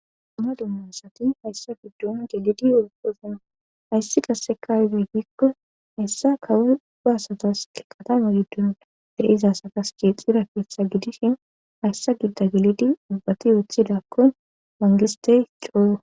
duna dummasati hayssa giddon gelidi opozan hayssi qasekazi hikko hayssa kawudasatas ke katama giddon dereizasakas keexxira keessha gidishin hayssa gidda gelidi ubbati wooththidakkon mangistey cooyo